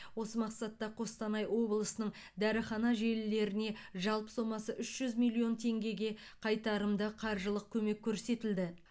осы мақсатта қостанай облысының дәріхана желілеріне жалпы сомасы үш жүз миллион теңгеге қайтарымды қаржылық көмек көрсетілді